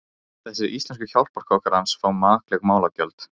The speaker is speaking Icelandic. Þessir íslensku hjálparkokkar hans fá makleg málagjöld.